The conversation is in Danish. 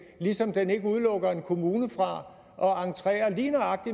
ligesom den ikke udelukker en kommune fra at entrere